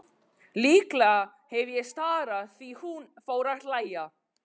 Líklega hef ég starað því hún fór að hlæja.